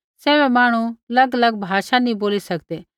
सैभी मांहणु बै बीमारा बै ठीक केरनै रा वरदान नी ऑथि सैभै मांहणु अलगअलग भाषा नी बोली सकदै